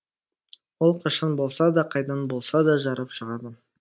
ол қашан болса да қайдан болса да жарып шығады